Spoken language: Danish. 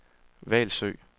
Hvalsø